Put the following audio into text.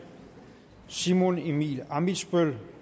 simon emil ammitzbøll